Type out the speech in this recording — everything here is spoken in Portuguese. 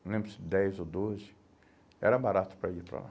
não lembro se dez ou doze, era barato para ir para lá.